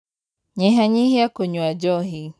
Nyihanyihia kunyua njohi.